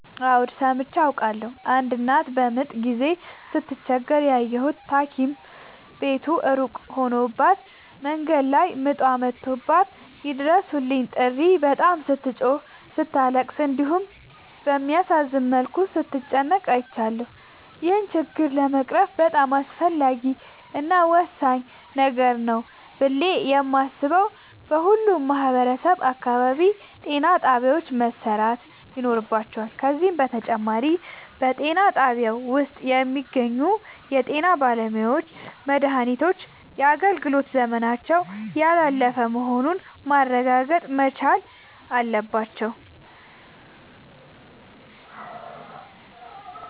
አዎድ ሠምቼ አውቃለሁ። አንድ እናት በምጥ ጊዜ ስትቸገር ያየሁት ታኪም ቤቱ እሩቅ ሆኖባት መንገድ ላይ ምጧ መቶባት የይድረሡልኝ ጥሪ በጣም ስትጮህና ስታለቅስ እንዲሁም በሚያሳዝን መልኩ ስትጨነቅ አይቻለሁ። ይህን ችግር ለመቅረፍ በጣም አስፈላጊ እና ወሳኝ ነገር ነው ብሌ የማሥበው በሁሉም ማህበረሠብ አካባቢ ጤናጣቢያዎች መሠራት ይኖርባቸዋል። ከዚህም በተጨማሪ በጤናጣቢያው ውስጥ የሚገኙ የጤናባለሙያዎች መድሃኒቶች የአገልግሎት ዘመናቸው ያላለፈ መሆኑን ማረጋገጥ መቻል አለባቸው።